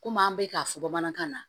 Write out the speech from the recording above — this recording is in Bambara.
Komi an bɛ k'a fɔ bamanankan na